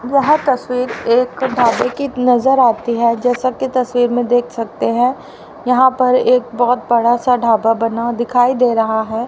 यह तस्वीर एक तो ढाबे की नजर आती है जैसा कि तस्वीर में देख सकते हैं यहां पर एक बहुत बड़ा सा ढाबा बना दिखाई दे रहा है।